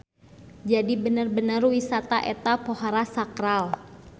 Jadi bener-bener wisata eta pohara sakral.